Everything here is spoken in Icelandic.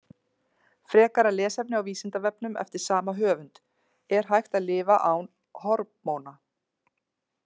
Frekara lesefni á Vísindavefnum eftir sama höfund: Er hægt að lifa án hormóna?